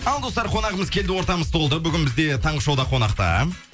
ал достар қонағымыз келді ортамыз толды бүгін бізде таңғы шоуда қонақта